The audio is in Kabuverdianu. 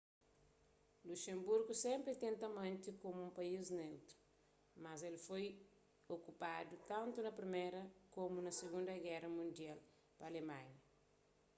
luxemburgu sénpri tenta mante komu un país neutru mas el foi okupadu tantu na priméra komu na sigunda géra mundial pa alemanha